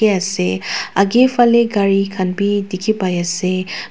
ase akae falae gari khan bi dikhipaiase.